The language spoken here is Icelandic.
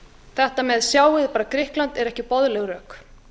þetta með sjáið bara grikkland eru ekki boðleg rök